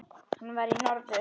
Hann var í norður.